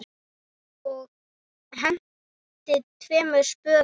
Ég henti tveimur spöðum.